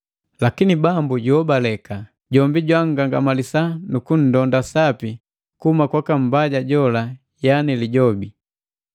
Lakini Bambu juhobaleka. Jombi jwa nngangamalisa nukunndonda sapi kuhuma kwaka mbaja jola yani Lijobi.